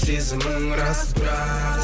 сезімің рас бірақ